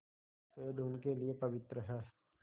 पेड़ उनके लिए पवित्र हैं